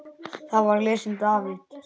Þar var lesinn David